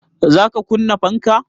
Za ka kunna fanka?